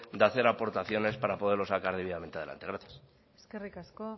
de hacer aportaciones para poderlo sacar debidamente adelante gracias eskerrik asko